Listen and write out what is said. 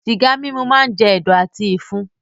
Sìgá mímu máá ń jẹ̀dọ̀ àti ìfun.